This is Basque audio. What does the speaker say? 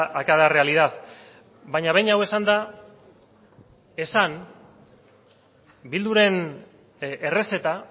a cada realidad baina behin hau esanda esan bilduren errezeta